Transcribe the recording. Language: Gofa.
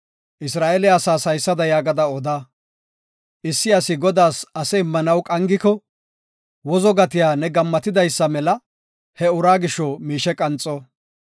Isra7eele asaas haysada yaagada oda; issi asi Godaas ase immanaw qangiko, wozo gatiya ne gammatidaysa mela he uraa gisho miishe qanxo.